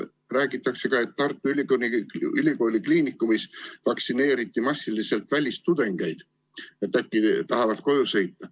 Räägitakse, et Tartu Ülikooli Kliinikumis vaktsineeriti massiliselt välistudengeid, et äkki nad tahavad koju sõita.